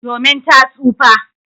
Domin ta tsufa.